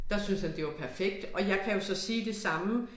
Der syntes han det var perfekt og jeg kan jo så sige det samme